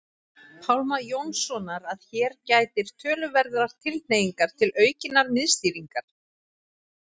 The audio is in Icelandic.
Pálma Jónssonar að hér gætir töluverðrar tilhneigingar til aukinnar miðstýringar.